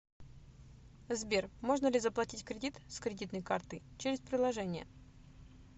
сбер можно ли заплатить кредит с кредитной карты через приложение